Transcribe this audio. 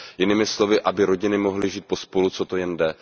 Jinými slovy, aby rodiny mohly žít pospolu, co to jen jde.